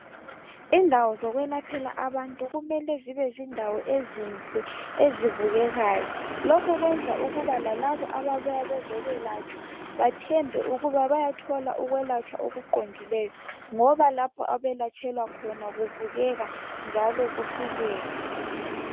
Indawo zokwelaphela abantu kumele zibe zindawo ezinhle ezibukekayo lokhu kwenza ukuba lalabo ababuya bezokwelatshwa bathembe ukuba bayathola ukwelatshwa okuqondileyo ngoba lapho abayelatshelwa khona kubukeka njalo kufikeka.